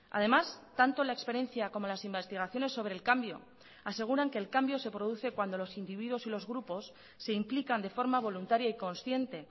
además tanto la experiencia como las investigaciones sobre el cambio aseguran que el cambio se produce cuando los individuos y los grupos se implican de forma voluntaria y consciente